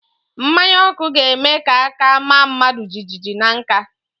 Mmanya ọkụ ga-eme ka aka maa mmadụ jijiji na nka